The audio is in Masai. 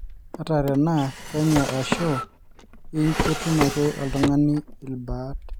ata tenaa penyo ashu lng ketum ake oltungani ilbaat